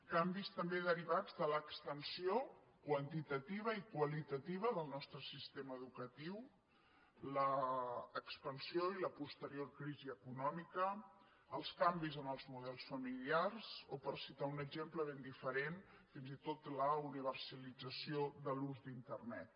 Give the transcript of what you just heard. canvis també derivats de l’extensió quantitativa i qualitativa del nostre sistema educatiu l’expansió i la posterior crisi econòmica els canvis en els models familiars o per citar un exemple ben diferent fins i tot la universalització de l’ús d’internet